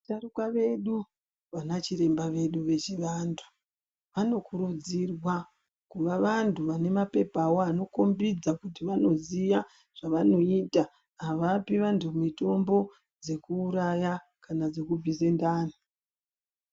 Vasharuka vedu, vanachiremba vedu vechivantu, vanokurudzirwa kuva vantu vane maphepha avo, vanokhombidza kuti vanoziya zvavanoita. Havapi antu mitombo dzekuuraya kana dzekubvise ndani.